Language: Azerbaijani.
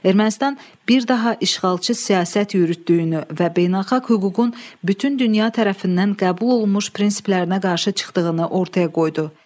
Ermənistan bir daha işğalçı siyasət yürütdüyünü və beynəlxalq hüququn bütün dünya tərəfindən qəbul olunmuş prinsiplərinə qarşı çıxdığını ortaya qoydu.